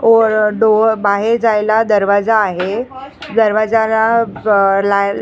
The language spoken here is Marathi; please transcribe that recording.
ओर डोअर बाहेर जायला दरवाजा आहे दरवाजाला ब लाय --